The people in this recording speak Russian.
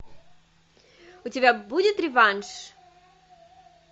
у тебя будет реванш